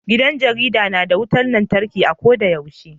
Gidan jarida na da wutan lantarki a ko da yaushe.